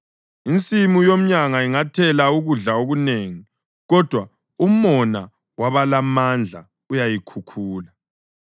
Insimu yomyanga ingathela ukudla okunengi, kodwa umona wabalamandla uyayikhukhula.